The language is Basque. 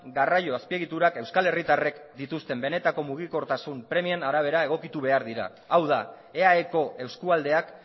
garraio azpiegiturak euskal herritarrek dituzten benetako mugikortasun premien arabera egokitu behar dira hau da eaeko eskualdeak